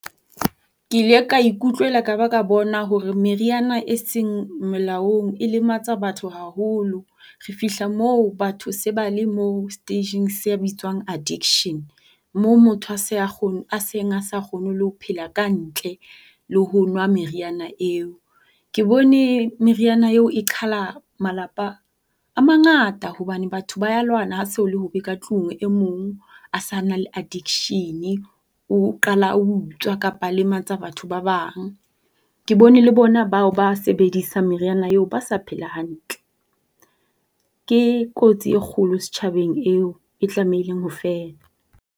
Ke ile ka ikutlwela ka ba ka bona hore meriana e seng molaong e lematsa batho haholo. Re fihla mo batho se ba le mo stage-ng se bitswang addiction, mo motho a seng a sa kgone le ho phela kantle le ho nwa meriana eo. Ke bone meriana eo e qhala malapa a mangata hobane batho ba ya lwana ha ho so le hobe katlung. E mong a sa na le aaddiction-e o qala a utswa kapa a lematsa batho ba bang. Ke bone le bona bao ba sebedisang meriana eo ba sa phela hantle. Ke kotsi e kgolo setjhabeng eo, e tlamehileng ho fela.